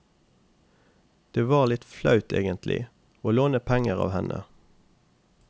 Det var litt flaut egentlig, å låne penger av henne.